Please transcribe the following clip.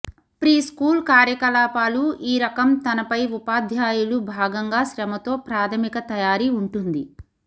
preschool కార్యకలాపాలు ఈ రకం తనపై ఉపాధ్యాయులు భాగంగా శ్రమతో ప్రాథమిక తయారీ ఉంటుంది